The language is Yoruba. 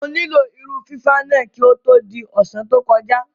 Mo nílò irun fífá náà kí ó tó di ọ̀sán tó kọjá.